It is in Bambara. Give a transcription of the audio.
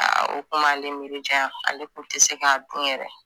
Aa kun b'a ale miiri janya ale kun te se k'a dun yɛrɛ